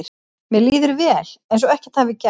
Mér líður vel, eins og ekkert hafi gerst.